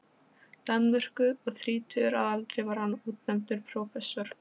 Danmörku, og þrítugur að aldri var hann útnefndur prófessor.